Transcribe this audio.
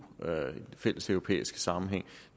fælleseuropæisk sammenhæng